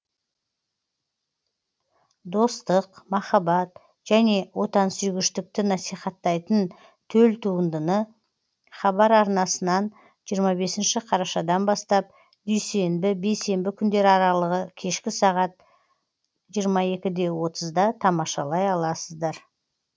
достық махаббат және отансүйгіштікті насихаттайтын төл туындыны хабар арнасынан жиырма бесінші қарашадан бастап дүйсенбі бейсенбі күндер арылығы кешкі сағат жиырма екі де отызда тамашалай аласыздар